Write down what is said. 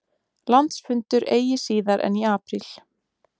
Landsfundur eigi síðar en í apríl